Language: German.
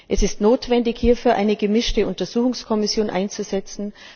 Es ist notwendig, hierfür eine gemischte Untersuchungskommission einzusetzen.